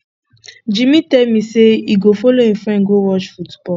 jimmy tell me say he go follow him friend go watch football